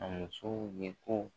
A musow ye ko